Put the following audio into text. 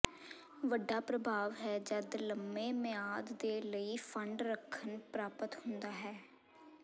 ਵੱਡਾ ਪ੍ਰਭਾਵ ਹੈ ਜਦ ਲੰਬੇ ਮਿਆਦ ਦੇ ਲਈ ਫੰਡ ਰੱਖਣ ਪ੍ਰਾਪਤ ਹੁੰਦਾ ਹੈ